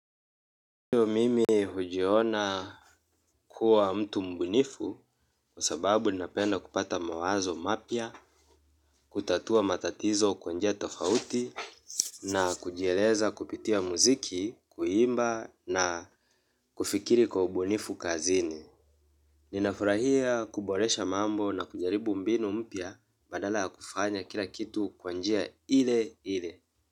Ndiyo mimi hujiona kuwa mtu mbunifu kwa sababu ninapenda kupata mawazo mapya, kutatua matatizo kwa njia tofauti na kujieleza kupitia muziki, kuimba na kufikiri kwa ubunifu kazini. Ninafurahia kuboresha mambo na kujaribu mbinu mpya badala ya kufanya kila kitu kwa njia ile ile.